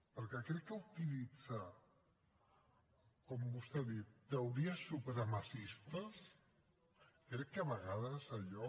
perquè crec que utilitzar com vostè ha dit teories supremacistes crec que a vegades allò